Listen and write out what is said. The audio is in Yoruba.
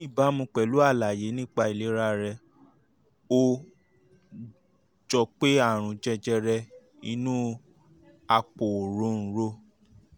um ní ìbámu pẹ̀lú àlàyé nípa ìlera rẹ ó jọ pé àrùn jẹjẹrẹ inú àpò òróǹro